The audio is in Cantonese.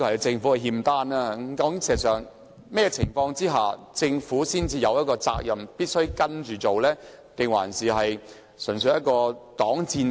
事實上，在甚麼情況之下，政府才有責任必須按《規劃標準》行事，還是這純粹是一個擋箭牌？